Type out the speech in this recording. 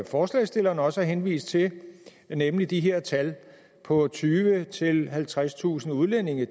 forslagsstillerne også har henvist til nemlig at de her tal på tyvetusind halvtredstusind udlændinge